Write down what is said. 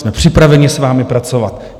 Jsme připraveni s vámi pracovat.